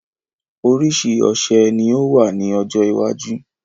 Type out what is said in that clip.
Orísìí ọṣẹ ni yóò wà ní ọjọ́ iwájú